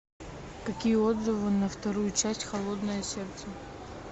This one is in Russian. какие отзывы на вторую часть холодное сердце